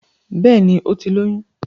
Bẹ́ẹ̀ni, ó ti lóyún